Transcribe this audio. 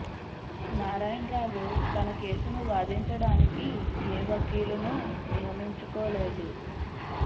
నారాయణ రావు తన కేసును వాదించ డానికి ఏ వకీలును నియమించు కోలేదు